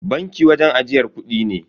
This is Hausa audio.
Banki wajen ajiyar kudi ne.